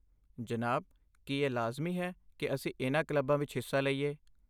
ਜਨਾਬ, ਕੀ ਇਹ ਲਾਜ਼ਮੀ ਹੈ ਕਿ ਅਸੀਂ ਇਨ੍ਹਾਂ ਕਲੱਬਾਂ ਵਿੱਚ ਹਿੱਸਾ ਲਈਏ?